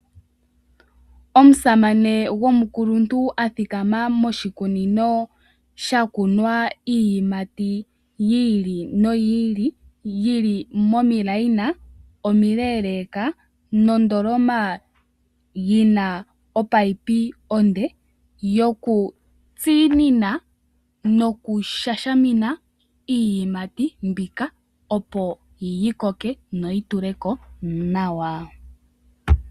Omusamane gomukuluntu athikama moshikunino sha kunwa iiyimati yi ili noyi ili, yili momikweyo omile leka nondoloma yina ominino onde yoku tsinina noku sha shamina iiyimati mbika opo yi koke noyi tuleko nawa.